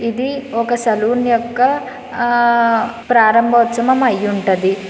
ఇది ఒక సెలూన్ యొక్క ప్రారంభ ఉత్సవము అయి ఉంటది.